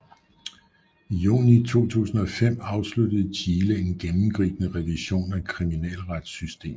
I juni 2005 afsluttede Chile en gennemgribende revision af kriminalretssystemet